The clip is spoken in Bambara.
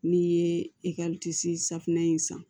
N'i ye safunɛ in san